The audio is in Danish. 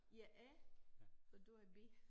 Jeg A for du er B